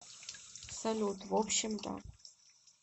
салют в общем да